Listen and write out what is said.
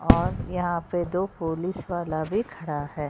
और यहाँ पे दो पुलिस वाला भी खड़ा है।